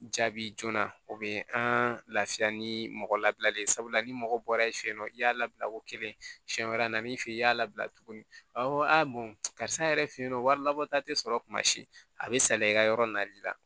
Jaabi joona o bɛ an lafiya ni mɔgɔ labilalen sabula ni mɔgɔ bɔra yen fɛ yen nɔ i y'a labila ko kelen siɲɛ wɛrɛ n'i fɛ yen i y'a labila tuguni karisa yɛrɛ fe yen nɔ wari labɔ ta te sɔrɔ kumasi a be sali i ka yɔrɔ nali la